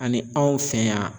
Ani anw fɛ yan